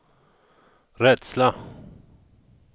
rädsla